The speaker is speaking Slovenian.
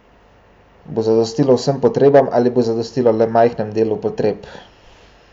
Bo zadostilo vsem potrebam ali bo zadostilo le majhnemu delu potreb?